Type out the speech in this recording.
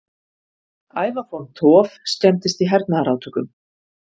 Ævafornt hof skemmdist í hernaðarátökum